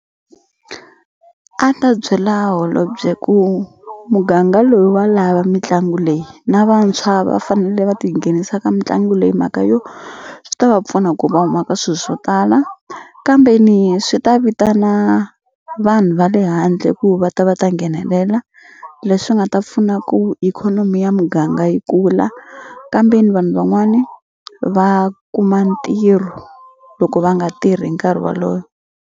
A ni ta byela holobye ku muganga loyi wa lava mitlangu leyi na vantshwa va fanele va tinghenisa ka mitlangu leyi himhaka yo swi ta va pfuna ku va huma ka swilo swo tala kambeni swi ta vitana vanhu va le handle ku va ta va ta nghenelela leswi nga ta pfuna ku ikhonomi ya muganga yi kula kambeni vanhu van'wani va kuma ntirho loko va nga tirhi hi nkarhi wolowo.